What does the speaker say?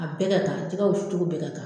A bɛɛ ka kan jɛgɛ wusu cogo bɛɛ ka kan.